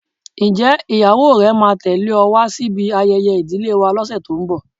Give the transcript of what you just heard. Ǹjẹ́ ìyàwó rẹ máa tẹle ọ wá sí ibi ayẹyẹ ìdílé wa lọse tó ń bọ̀?